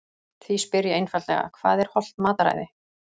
Því spyr ég einfaldlega: Hvað er hollt mataræði?